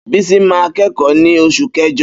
Bísí máa ń kẹ́kọ̀ọ́ ní Oṣù Kẹjọ.